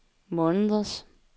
måneders